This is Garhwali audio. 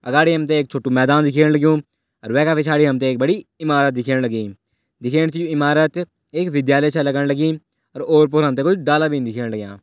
अगाडि हमते एक छोटू मैदान दिख्येण लगयूं और वेका पिछाड़ी हमते एक बड़ी इमारत दिख्येण लगीं दिख्येण से ये इमारत एक विद्यालय छै लगण लगीं और और-पोर हमते कुछ डाला बीन दिख्येण लाग्यां।